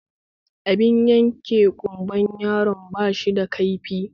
Abin yanke ƙumbar yaron bashi da kaifi